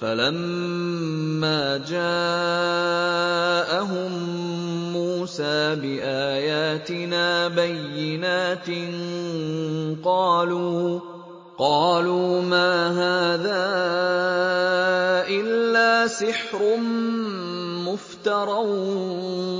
فَلَمَّا جَاءَهُم مُّوسَىٰ بِآيَاتِنَا بَيِّنَاتٍ قَالُوا مَا هَٰذَا إِلَّا سِحْرٌ مُّفْتَرًى